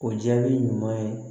O jaabi ɲuman ye